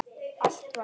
Allt var stórt.